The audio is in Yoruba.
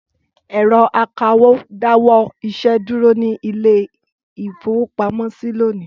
Ẹ̀rọ akawó dáwọ́ iṣẹ́ dúró ní ilé-ìfowópamọ́sí lónìí.